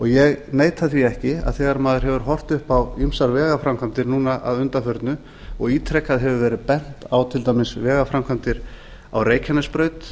ég neita því ekki að þegar maður hefur horft upp á ýmsar vegaframkvæmdir núna að undanförnu og ítrekað hefur verið bent á til dæmis vegaframkvæmdir á reykjanesbraut